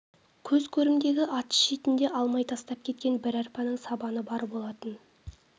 көз көрімдегі атыз шетінде алмай тастап кеткен бір арпаның сабаны бар болатын